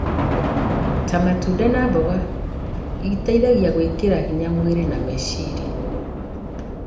ta matunda na mboga iteithagia gwĩkĩra hinya mwĩrĩ na meciria.